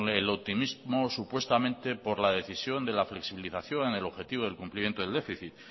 el optimismo supuestamente por la decisión de la flexibilización en el objetivo del cumplimiento del déficit